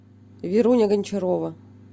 веруня гончарова